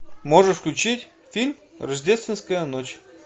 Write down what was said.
можешь включить фильм рождественская ночь